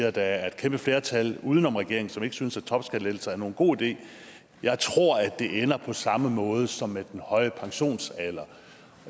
at der er et kæmpe flertal uden om regeringen som ikke synes at topskattelettelser er nogen god idé jeg tror at det ender på samme måde som med den høje pensionsalder